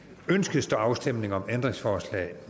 ønskes afstemning om ændringsforslag